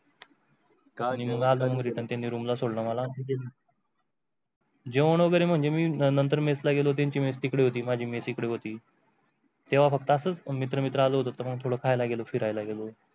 त्यानी रूम ला सोडला मला. जेवण वगैरे म्हणजे मी नंतर त्यंचा मेस ला गेल होत त्यंचा मेस तिकडे होती माझ्या मेस इकडे होती. तेव्हा फक्त असंच मित्र मित्रा ला होता. थोडं खायला गेलो फिरायला गेलो.